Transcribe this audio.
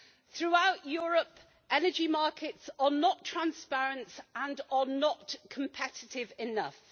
Throughout Europe, energy markets are not transparent and are not competitive enough.